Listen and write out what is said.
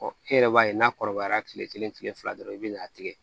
e yɛrɛ b'a ye n'a kɔrɔbayara kile kelen kile fila dɔrɔn i be n'a tigɛ